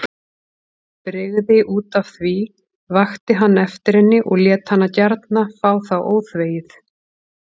Brygði útaf því, vakti hann eftir henni og lét hana gjarna fá það óþvegið.